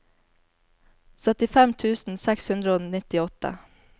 syttifem tusen seks hundre og nittiåtte